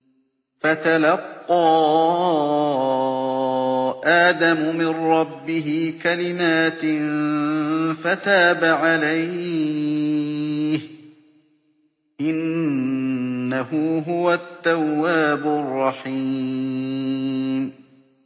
فَتَلَقَّىٰ آدَمُ مِن رَّبِّهِ كَلِمَاتٍ فَتَابَ عَلَيْهِ ۚ إِنَّهُ هُوَ التَّوَّابُ الرَّحِيمُ